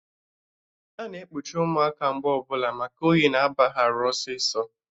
Ana ekpuchi ụmụaka mgbe ọbụla maka oyi na aba ha arụ ọsịsọ